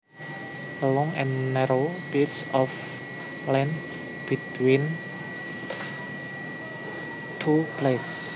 A long and narrow piece of land between two places